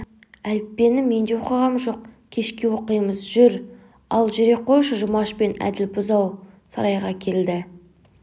әліппенімен де оқығам жоқ кешке оқимыз жүр ал жүре қойшы жұмаш пен әділ бұзау сарайға келді